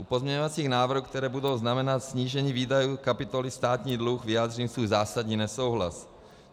U pozměňovacích návrhů, které budou znamenat snížení výdajů kapitoly Státní dluh, vyjádřím svůj zásadní nesouhlas.